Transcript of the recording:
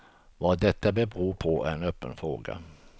Vad detta beror på är en öppen fråga.